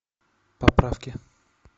поправки